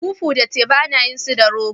Fufu da teba ana yin su da rogo.